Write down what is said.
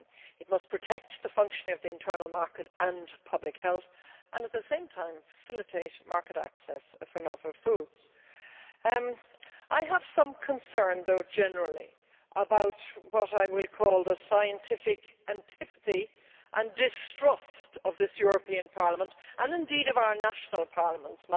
It must protect the functioning of the internal market and public health and, at the same time, facilitate market access for novel foods. However, I have some concerns generally about what I will call the scientific antipathy and distrust of this European Parliament and, indeed, of our national parliaments